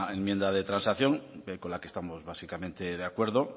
enmienda de transacción con la que estamos básicamente de acuerdo